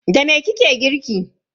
Da me kike girki?